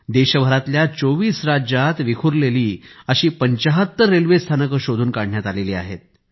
देशभरातल्या 24 राज्यांत विखुरलेली अशी 75 रेल्वे स्थानकं शोधून काढण्यात आली आहेत